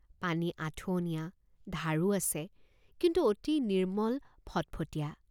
পানী আঠুৱনীয়া ধাৰো আছে কিন্তু অতি নিৰ্মল ফট্ফটীয়া।